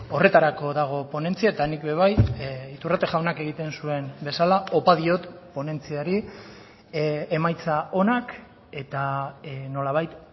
horretarako dago ponentzia eta nik ere bai iturrate jaunak egiten zuen bezala opa diot ponentziari emaitza onak eta nolabait